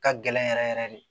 Ka gɛlɛn yɛrɛ yɛrɛ yɛrɛ de